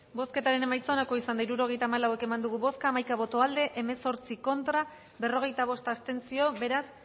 bozketaren emaitza onako izan da hirurogeita hamalau eman dugu bozka hamaika boto aldekoa hemezortzi contra berrogeita bost abstentzio beraz